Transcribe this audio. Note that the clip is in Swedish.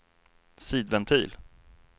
sidventil